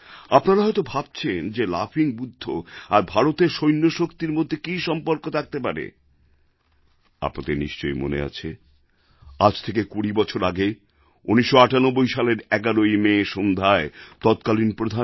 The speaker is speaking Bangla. আপনারা হয়ত ভাবছেন যে লাফিং বুদ্ধ আর ভারতের সৈন্যশক্তির মধ্যে কী সম্বন্ধ থাকতে পারে আপনাদের নিশ্চয়ই মনে আছে আজ থেকে ২০ বছর আগে ১৯৯৮ সালের ১১ই মে সন্ধ্যায় তৎকালিন প্রধানমন্ত্রী